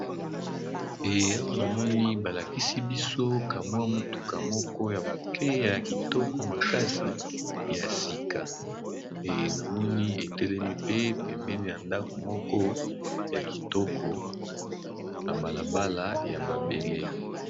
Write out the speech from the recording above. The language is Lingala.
Mutuka ya muke etelemi na mopanzi ya ndako. Ezali nde na langi ya pondu ya makasi, na pondu ya pete, langi ya pembe na shokola.